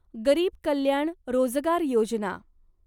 गरीब कल्याण रोजगार योजना